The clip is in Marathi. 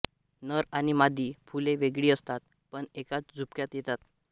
नर आणि मादी फुले वेगळी असतात पण एकाच झुपक्यात येतात